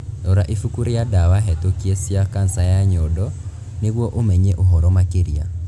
Rora ibuku rĩa drugs approved for breast cancer nĩguo ũmenye ũhoro makĩria.